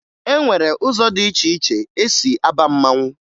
E nwere ụzọ dị iche iche e si aba mmanwụ